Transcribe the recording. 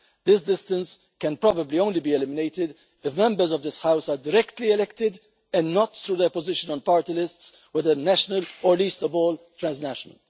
This distance can probably only be eliminated if Members of this House are directly elected and not through their position on party lists whether national or least of all transnational.